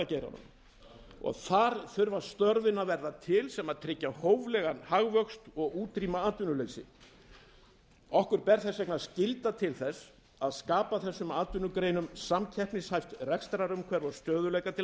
og sprotageiranum þar þurfa störfin að verða til sem tryggja hóflegan hagvöxt og útrýma atvinnuleysi okkur ber skylda til að skapa þessum atvinnugreinum samkeppnishæft rekstrarumhverfi og stöðugleika til